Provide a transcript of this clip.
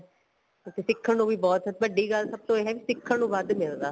ਤੇ ਸਿੱਖਣ ਨੂੰ ਵੀ ਬਹੁਤ ਵੱਡੀ ਗੱਲ ਸਭ ਤੋਂ ਇਹ ਏ ਸਿਖਣ ਨੂੰ ਵੱਧ ਮਿਲਦਾ